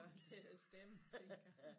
Til at stemme tænkte jeg